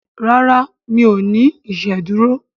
ràrá mi'o ní iṣeduro.